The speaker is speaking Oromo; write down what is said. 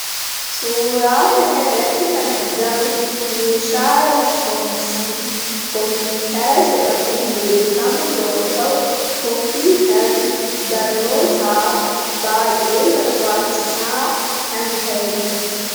suuraa kan irratti kan argamu meeshaa elektiroonisii koompiitara jedhamuu beekamu yoo ta'u koompiitari barnootaaf baa'ee barbaachisaa kan ta'eedha